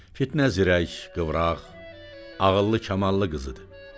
Fitnə zirək, qıvraq, ağıllı-kamallı qızıdı.